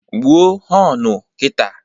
Gbuo họnu kita!